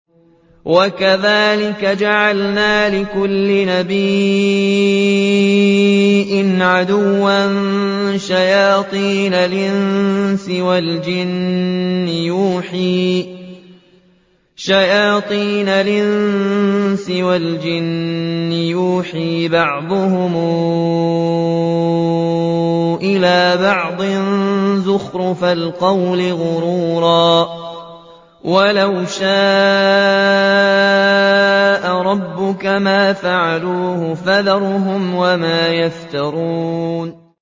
وَكَذَٰلِكَ جَعَلْنَا لِكُلِّ نَبِيٍّ عَدُوًّا شَيَاطِينَ الْإِنسِ وَالْجِنِّ يُوحِي بَعْضُهُمْ إِلَىٰ بَعْضٍ زُخْرُفَ الْقَوْلِ غُرُورًا ۚ وَلَوْ شَاءَ رَبُّكَ مَا فَعَلُوهُ ۖ فَذَرْهُمْ وَمَا يَفْتَرُونَ